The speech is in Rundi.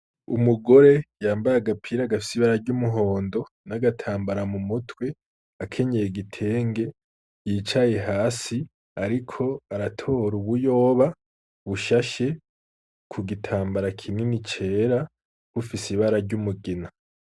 Umugore yambaye agapira agafisibarary'umuhondo n'agatambara mu mutwe akenyeye gitenge yicaye hasi, ariko aratora ubuyoba bushashe ku gitambara kinini cera bufise ibararyoumugina.